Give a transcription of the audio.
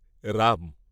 Ram.